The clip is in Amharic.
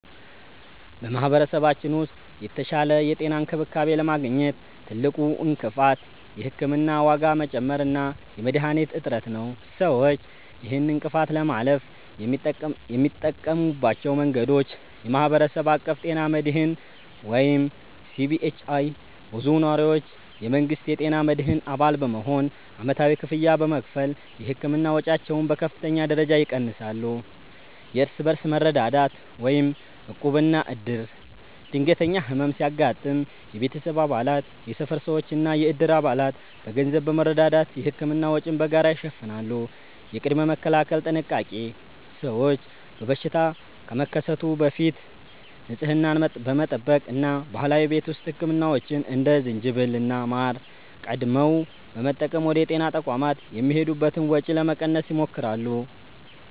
በማኅበረሰባችን ውስጥ የተሻለ የጤና እንክብካቤ ለማግኘት ትልቁ እንቅፋት የሕክምና ዋጋ መጨመር እና የመድኃኒቶች እጥረት ነው። ሰዎች ይህንን እንቅፋት ለማለፍ የሚጠቀሙባቸው መንገዶች፦ የማኅበረሰብ አቀፍ ጤና መድህን (CBHI)፦ ብዙ ነዋሪዎች የመንግሥትን የጤና መድህን አባል በመሆን ዓመታዊ ክፍያ በመክፈል የሕክምና ወጪያቸውን በከፍተኛ ደረጃ ይቀንሳሉ። የእርስ በርስ መረዳዳት (ዕቁብና ዕድር)፦ ድንገተኛ ሕመም ሲያጋጥም የቤተሰብ አባላት፣ የሰፈር ሰዎችና የዕድር አባላት በገንዘብ በመረዳዳት የሕክምና ወጪን በጋራ ይሸፍናሉ። የቅድመ-መከላከል ጥንቃቄ፦ ሰዎች በሽታ ከመከሰቱ በፊት ንጽህናን በመጠበቅ እና ባህላዊ የቤት ውስጥ ሕክምናዎችን (እንደ ዝንጅብልና ማር) ቀድመው በመጠቀም ወደ ጤና ተቋማት የሚሄዱበትን ወጪ ለመቀነስ ይሞክራሉ።